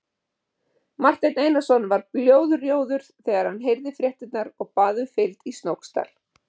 Marteinn Einarsson varð blóðrjóður þegar hann heyrði fréttirnar og bað um fylgd í Snóksdal.